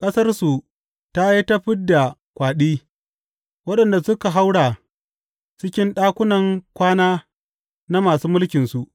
Ƙasarsu ta yi ta fid da kwaɗi, waɗanda suka haura cikin ɗakunan kwana na masu mulkinsu.